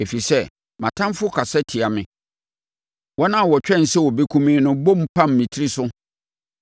Ɛfiri sɛ mʼatamfoɔ kasa tia me wɔn a wɔtwɛn sɛ wɔbɛkum me no bom pam me tiri so.